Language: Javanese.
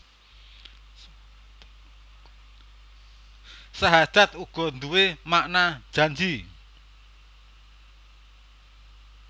Sahadat uga nduwé makna janji